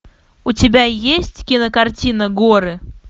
у тебя есть кинокартина горы